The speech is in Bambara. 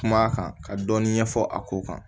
Kuma kan ka dɔɔnin ɲɛfɔ a ko kan